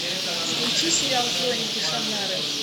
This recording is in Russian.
включи сериал хроники шаннары